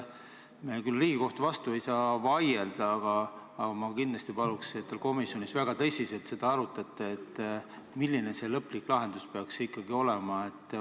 Riigikohtu vastu ei saa küll vaielda, aga kindlasti paluksin, et te komisjonis väga tõsiselt arutaksite, milline see lõplik lahendus peaks ikkagi olema.